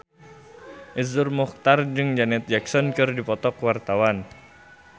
Iszur Muchtar jeung Janet Jackson keur dipoto ku wartawan